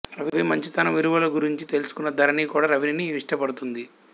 రవి మంచి తనం విలువలు గురించి తెలుసుకున్న ధరణి కూడా రవిని ఇష్టపడుతుంది